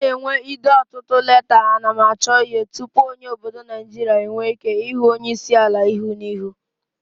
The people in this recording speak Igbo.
O n'enwe ide otutu leta ana m achoihu tupu onye obodo Nigeria enwe Ike hu onye isiala ihu na ihu